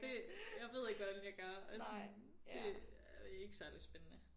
Det jeg ved ikke hvordan jeg gør og sådan det er ikke særligt spændende